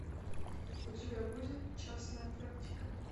у тебя будет частная практика